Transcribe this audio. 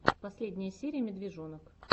последняя серия медвежонок